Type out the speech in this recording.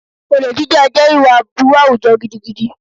Olè jíjà jẹ́ ìwà aburú àwùjọ gidigidi